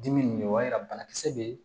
Dimi nin o b'a yira banakisɛ bɛ